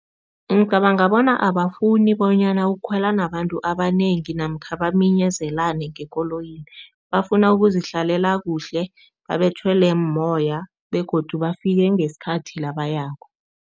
Ngicabanga bona abafuni bonyana ukukhwela nabantu abanengi namkha baminyezelane ngekoloyini. Bafuna ukuzihlalela kuhle, babetjhelwe mumoya begodu bafike ngesikhathi la bayako.